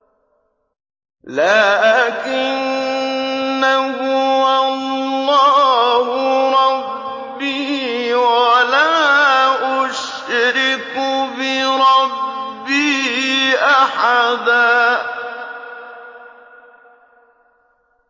لَّٰكِنَّا هُوَ اللَّهُ رَبِّي وَلَا أُشْرِكُ بِرَبِّي أَحَدًا